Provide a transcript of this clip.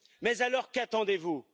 Mais alors qu'attendez vous?